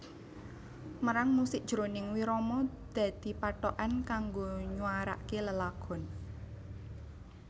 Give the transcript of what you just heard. Mérang musik jroning wirama dadi pathokan kanggo nywaraké lelagon